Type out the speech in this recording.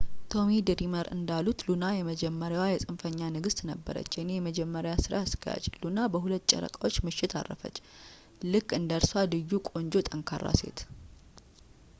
ቶሚ ድሪመር እንዳሉት ሉና የመጀመሪያዋ የፅንፈኛ ንግሥት ነበረች የእኔ የመጀመሪያ ሥራ አስኪያጅ ሉና በሁለት ጨረቃዎች ምሽት አረፈች ልክ እንደ እርሷ ልዩ ቆንጆ ጠንካራ ሴት